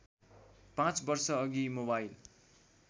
पाँच वर्षअघि मोबाइल